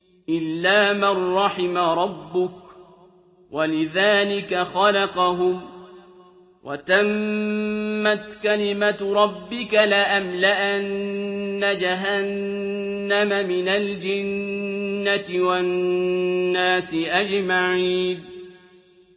إِلَّا مَن رَّحِمَ رَبُّكَ ۚ وَلِذَٰلِكَ خَلَقَهُمْ ۗ وَتَمَّتْ كَلِمَةُ رَبِّكَ لَأَمْلَأَنَّ جَهَنَّمَ مِنَ الْجِنَّةِ وَالنَّاسِ أَجْمَعِينَ